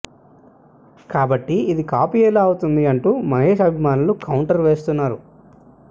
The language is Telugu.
కాబట్టి ఇది కాపీ ఎలా అవుతుంది అంటూ మహేష్ అభిమానులు కౌంటర్ వేస్తున్నారు